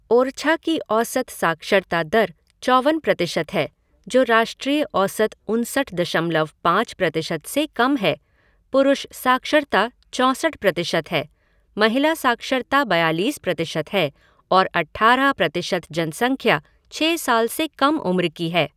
ओरछा की औसत साक्षरता दर चौवन प्रतिशत है, जो राष्ट्रीय औसत उनसठ दशमलव पाँच प्रतिशत से कम है पुरुष साक्षरता चौंसठ प्रतिशत है, महिला साक्षरता बयालीस प्रतिशत है और अट्ठारह प्रतिशत जनसंख्या छह साल से कम उम्र की है।